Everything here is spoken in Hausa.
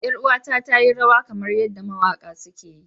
Yar'uwata ta yi rawa kamar yadda mawaƙa suke yi.